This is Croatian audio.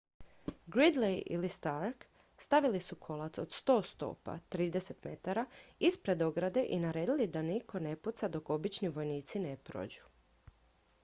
gridley ili stark stavili su kolac od 100 stopa 30 m ispred ograde i naredili da nitko ne puca dok obični vojnici ne prođu